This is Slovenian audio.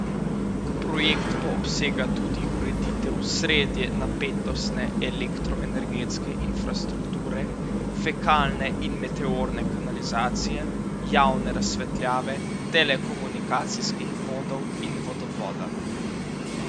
Projekt pa obsega tudi ureditev srednje napetostne elektroenergetske infrastrukture, fekalne in meteorne kanalizacije, javne razsvetljave, telekomunikacijskih vodov in vodovoda.